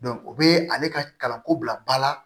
o bɛ ale ka kalanko bila ba la